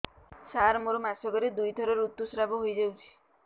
ସାର ମୋର ମାସକରେ ଦୁଇଥର ଋତୁସ୍ରାବ ହୋଇଯାଉଛି